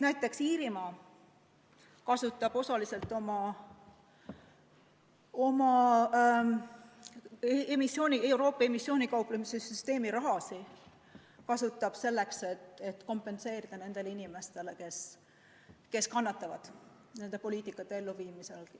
Näiteks Iirimaa kasutab osaliselt oma Euroopa emissiooni puudutava kauplemissüsteemi raha selleks, et kompenseerida muudatuste mõju nendele inimestele, kes kannatavad nende poliitikate elluviimise tõttu.